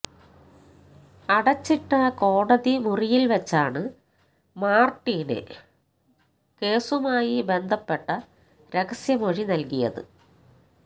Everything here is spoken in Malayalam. അടച്ചിട്ട കോടതി മുറിയില് വെച്ചാണ് മാര്ട്ടിന് മാര്ട്ടിന് കേസുമായി ബന്ധപ്പെട്ട രഹസ്യമൊഴി നല്കിയത്